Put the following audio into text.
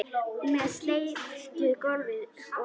Með steyptu gólfi og allt